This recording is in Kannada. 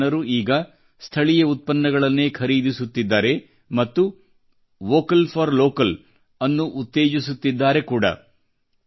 ಈ ಜನರು ಈಗ ಸ್ಥಳೀಯ ಉತ್ಪನ್ನಗಳನ್ನೇ ಖರೀದಿಸುತ್ತಿದ್ದಾರೆ ಮತ್ತು ವೋಕಲ್ ಫಾರ್ ಲೋಕಲ್ ಅನ್ನು ಉತ್ತೇಜಿಸುತ್ತಿದ್ದಾರೆ ಕೂಡಾ